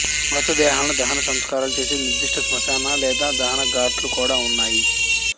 మృతదేహాలను దహన సంస్కారాలు చేసే నిర్దిష్ట శ్మశాన లేదా దహన ఘాట్లు కూడా ఉన్నాయి